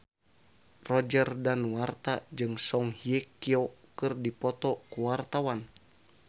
Roger Danuarta jeung Song Hye Kyo keur dipoto ku wartawan